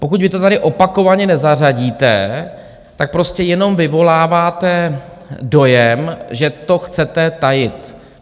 Pokud vy to tady opakovaně nezařadíte, tak prostě jenom vyvoláváte dojem, že to chcete tajit.